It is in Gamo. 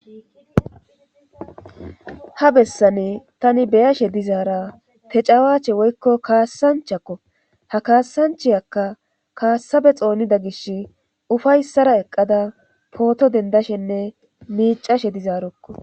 Ha bessane tani beyashe dizaara tecawaache woykko kaassanchakko ha kaassanchayakka kaassabe xoonida gish ufayssara eqqada pooto dendashenne miicashe dizaarokko